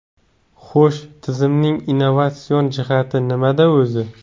Xo‘sh, tizimning innovatsion jihati nimada o‘zi?